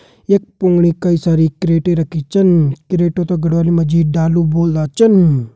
यख फुणि कई सारी क्रैटे रखी छन क्रेटो त गढ़वाली माँ ढालू बोलंदा छन।